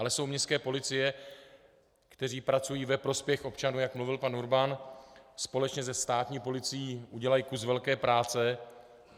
Ale jsou městské policie, které pracují ve prospěch občanů, jak mluvil pan Urban, společně se státní policií udělají kus velké práce.